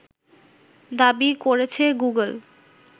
দাবি করেছে গুগল